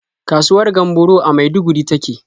Kasuwar Gamburo a Maiduguri ta ke.